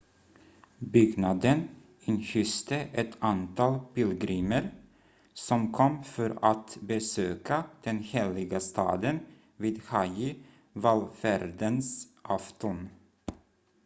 byggnaden inhyste ett antal pilgrimer som kom för att besöka den heliga staden vid hajji-vallfärdens afton